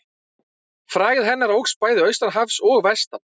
Frægð hennar óx bæði austan hafs og vestan.